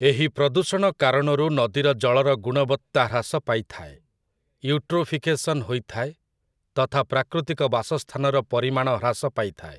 ଏହି ପ୍ରଦୂଷଣ କାରଣରୁ ନଦୀର ଜଳର ଗୁଣବତ୍ତା ହ୍ରାସ ପାଇଥାଏ, ୟୁଟ୍ରୋଫିକେସନ୍ ହୋଇଥାଏ ତଥା ପ୍ରାକୃତିକ ବାସସ୍ଥାନର ପରିମାଣ ହ୍ରାସ ପାଇଥାଏ ।